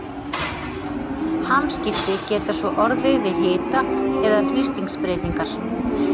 Hamskipti geta svo orðið við hita- eða þrýstingsbreytingar.